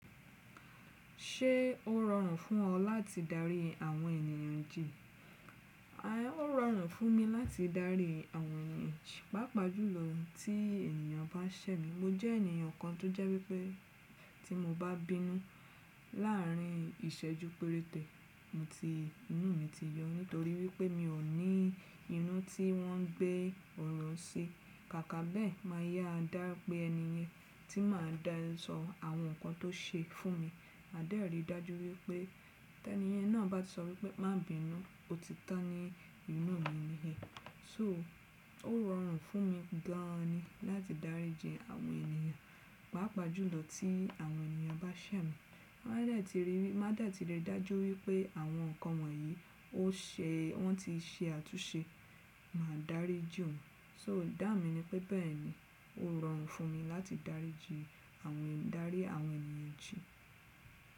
Ṣé ó rọrùn fún ọ láti darí àwọn ènìyàn jì? Ó rọrùn fún mi láti darí àwọn ènìyàn jì, pàápàá jùlọ tí ènìyàn bá ṣẹ̀ mi. Mo jẹ́ ènìyàn kan tó jẹ́ wípé tí mo bá bínú láàárín ìṣẹ́ ju péréte, inú mi ti yọ nítorí wípé mi ò ní inú tí wọ́n gbé ọ̀rọ̀ sí. Kàkà bẹ́ẹ̀ máa yá a dá pé ẹni yẹn tí màá dá sọ àwọn nǹkan tó ṣe fún mi, màá dàtìrí dájú wípé tí ẹni yẹn náà bá ti sọ wípé má bínú, ó ti tán ní inú mi ni ẹ. So ó rọrùn fún mi gan an ni láti dáríji àwọn ènìyàn, pàápàá jùlọ tí àwọn ènìyàn bá ṣẹ̀ mi. Má dàtìrí dájú wípé àwọn nǹkan wọ̀nyí ó ṣe wọ́n ti ṣe àtúnṣe, màá dáríji wòn. So dà mí ní pé bẹ́ẹ̀ ni, ó rọrùn fún mi láti darí àwọn ènìyàn jì.